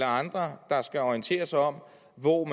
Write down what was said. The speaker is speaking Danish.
og andre der skal orientere sig om hvor